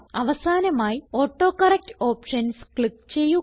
അവസാനമായി autocorrect options click ചെയ്യുക